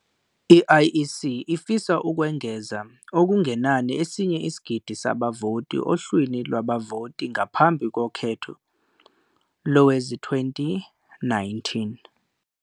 I-IEC ifisa ukwengeza okungenani esinye isigidi sabavoti ohlwini lwabavoti ngaphambi kokhetho lowezi-2019.